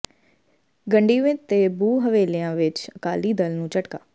ਗੰਡੀਵਿੰਡ ਤੇ ਬੂਹ ਹਵੇਲੀਆਂ ਵਿਚ ਅਕਾਲੀ ਦਲ ਨੂੰ ਝਟਕਾ